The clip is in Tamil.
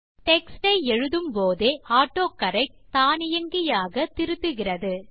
டெக்ஸ்ட் ஐ எழுதும் போதே ஆட்டோகரெக்ட் தானியங்கியாக திருத்துகிறது